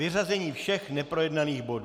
Vyřazení všech neprojednaných bodů.